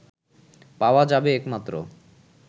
পাওয়া যাবে একমাত্র